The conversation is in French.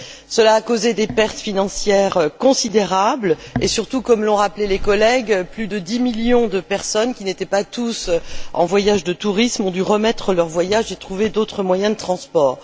Cela a causé des pertes financières considérables, et surtout comme l'ont rappelé les collègues plus de dix millions de personnes, qui n'étaient pas toutes en voyage de tourisme, ont dû remettre leur voyage et trouver d'autres moyens de transport.